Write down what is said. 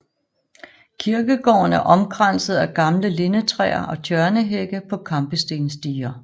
Kirkegården er omkranset af gamle lindetræer og tjørnehække på kampestensdiger